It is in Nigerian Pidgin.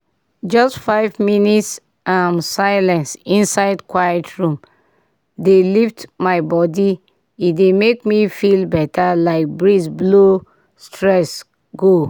just five minute um silence inside quiet room dey lift my body e dey make me feel better like breeze blow stress go.